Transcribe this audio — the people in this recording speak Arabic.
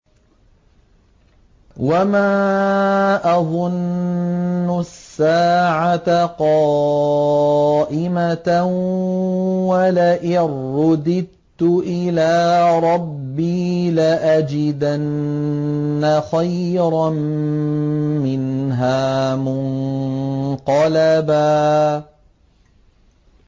وَمَا أَظُنُّ السَّاعَةَ قَائِمَةً وَلَئِن رُّدِدتُّ إِلَىٰ رَبِّي لَأَجِدَنَّ خَيْرًا مِّنْهَا مُنقَلَبًا